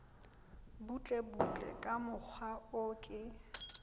butlebutle ka mokgwa o ke